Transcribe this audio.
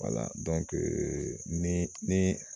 Wala dɔnkee ni ni